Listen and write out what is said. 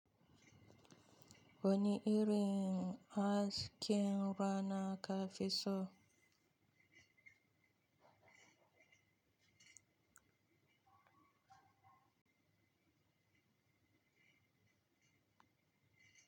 Wani irin askin rana ka fi so?